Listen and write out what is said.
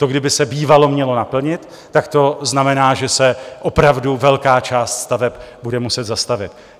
To kdyby se bývalo mělo naplnit, tak to znamená, že se opravdu velká část staveb bude muset zastavit.